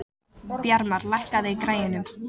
Bjarmar, lækkaðu í græjunum.